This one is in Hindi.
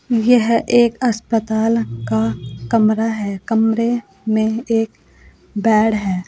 यह एक अस्पताल का कमरा है कमरे में एक बेड है।